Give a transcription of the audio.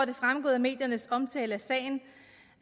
det fremgået af mediernes omtale af sagen